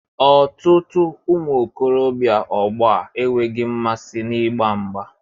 Ọtụtụ ụmụ okorobịa ọgbọ a enweghị mmasị n'ịgba mgbà